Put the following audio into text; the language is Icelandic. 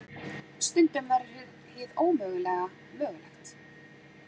Stundum verður hið ómögulega mögulegt.